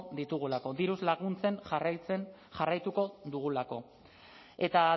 ditugulako diruz laguntzen jarraituko dugulako eta